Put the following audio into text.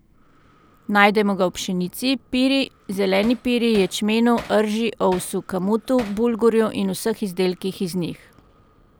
Najdemo ga v pšenici, piri, zeleni piri, ječmenu, rži, ovsu, kamutu, bulgurju in vseh izdelkih iz njih.